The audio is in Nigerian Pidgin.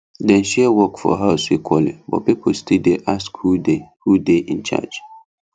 dem share work for house equally but people still dey ask who dey who dey in charge